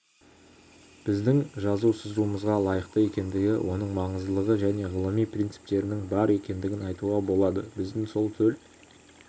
біздің жазу-сызуымызға лайықты екендігі оның маңыздылығы және ғылыми принциптерінің бар екендігін айтуға болады біздің сол төл